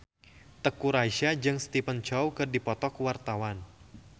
Teuku Rassya jeung Stephen Chow keur dipoto ku wartawan